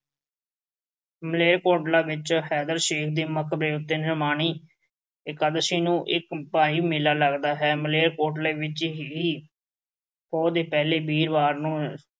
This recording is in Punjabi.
ਮਾਲੇਰਕੋਟਲਾ ਵਿੱਚ ਹੈਦਰਸ਼ੇਖ ਦੇ ਮਕਬਰੇ ਉੱਤੇ ਨਿਮਾਣੀ ਇਕਾਦਸ਼ੀ ਨੂੰ ਇੱਕ ਭਾਰੀ ਮੇਲਾ ਲੱਗਦਾ ਹੈ। ਮਾਲੇਰਕੋਟਲਾ ਵਿੱਚ ਹੀ ਪੋਹ ਦੇ ਪਹਿਲੇ ਵੀਰਵਾਰ ਨੂੰ